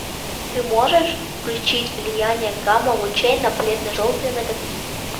ты можешь включить влияние гамма лучей на бледно желтые ноготки